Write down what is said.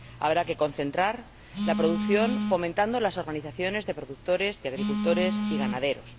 habrá que concentrar la producción, fomentando las organizaciones de productores, de agricultores y ganaderos